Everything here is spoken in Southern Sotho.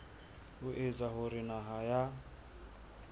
ho etsa hore naha ya